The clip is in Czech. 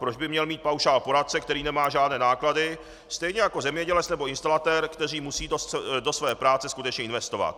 Proč by měl mít paušál poradce, který nemá žádné náklady, stejně jako zemědělec nebo instalatér, kteří musí do své práce skutečně investovat.